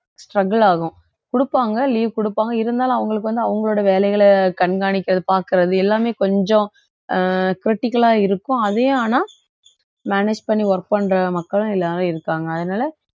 struggle ஆகும் குடுப்பாங்க leave குடுப்பாங்க இருந்தாலும் அவங்களுக்கு வந்து அவங்களோட வேலைகளை கண்காணிக்கிறது பாக்குறது எல்லாமே கொஞ்சம் அஹ் critical அ இருக்கும் அதே ஆனா manage பண்ணி work பண்ற மக்களும் எல்லாரும் இருக்காங்க அதனால